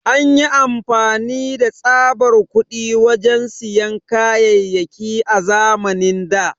An yi amfani da tsaɓar kuɗi wajen siyan kayayaki a zamanin da.